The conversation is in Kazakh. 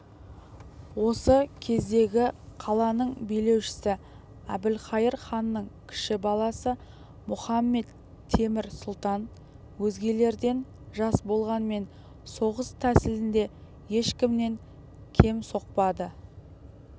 осы кездегі қаланың билеушісі әбілқайыр ханның кіші баласы мұхамед-темір сұлтан өзгелерден жас болғанмен соғыс тәсіліне ешкімнен кем соқпады